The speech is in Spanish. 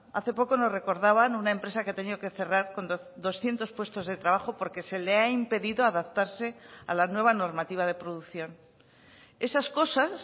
hace poco nos recordaban una empresa que ha tenido que cerrar con doscientos puestos de trabajo porque se le ha impedido adaptarse a la nueva normativa de producción esas cosas